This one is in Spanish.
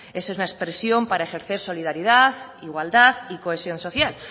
es una expresión para ejercer solidaridad igualdad y cohesión social